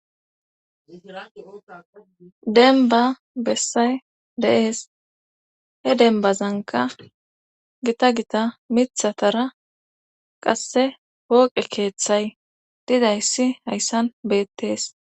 denba bessay de'ees he denbazanka gita gita mithatara qasse wooqe keeththay didayssi hayssan beettees